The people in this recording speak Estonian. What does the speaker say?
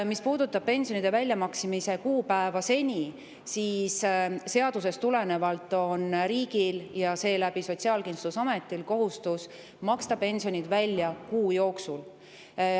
Mis puudutab pensionide väljamaksmise senist kuupäeva, siis seadusest tulenevalt on riigil ja seeläbi Sotsiaalkindlustusametil kohustus maksta pensionid välja kuu jooksul.